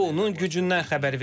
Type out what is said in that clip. Bu onun gücündən xəbər verir.